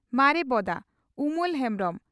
ᱢᱟᱨᱮ ᱵᱚᱫᱟ (ᱩᱢᱚᱞ ᱦᱮᱢᱵᱽᱨᱚᱢ)